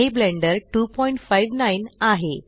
हे ब्लेण्डर 259 आहे